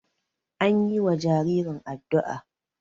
an yiwa jaririn addu'a